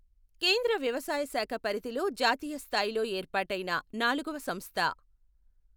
కేంద్ర వ్యవసాయ శాఖ పరిధిలో జాతీయ స్థాయిలో ఏర్పాటైన నాలుగవ సంస్థ.